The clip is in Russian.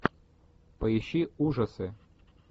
поищи ужасы